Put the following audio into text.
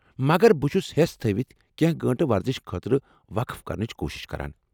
مگر بہٕ چھس حیس تھٲوِتھ کینٛہہ گٲنٛٹہٕ ورزش خٲطرٕ وقف کرنٕچ کوٗشش کران۔